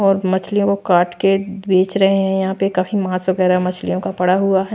और मछलियों को काट के बेच रहे हैं यहां पे कही मांस वगैरा मछलियों का पड़ा हुआ है।